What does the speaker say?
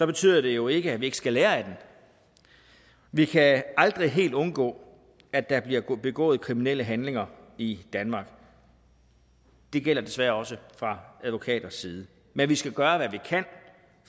betyder det jo ikke at vi ikke skal lære af den vi kan aldrig helt undgå at der bliver begået kriminelle handlinger i danmark det gælder desværre også fra advokaters side men vi skal gøre hvad vi kan